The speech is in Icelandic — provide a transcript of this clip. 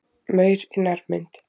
Maur í nærmynd.